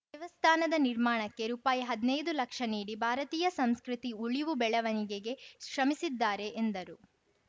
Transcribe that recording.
ದೇವಸ್ಥಾನದ ನಿರ್ಮಾಣಕ್ಕೆ ರೂಪಾಯಿ ಹದ್ನೈದು ಲಕ್ಷ ನೀಡಿ ಭಾರತೀಯ ಸಂಸ್ಕೃತಿ ಉಳಿವುಬೆಳವಣಿಗೆಗೆ ಶ್ರಮಿಸಿದ್ದಾರೆ ಎಂದರು